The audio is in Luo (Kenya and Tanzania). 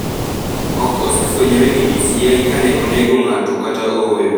Ok osefwenyore gi DCI ka ne onego ng’ato kata ooyo.